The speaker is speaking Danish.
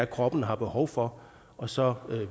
kroppen har behov for og så